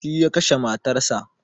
Shi ya kashe matar sa